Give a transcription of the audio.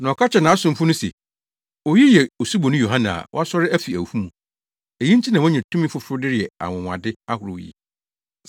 na ɔka kyerɛɛ nʼasomfo ne se, “Oyi yɛ Osuboni Yohane na wasɔre afi awufo mu. Eyi nti na wanya tumi foforo de reyɛ anwonwade ahorow yi.”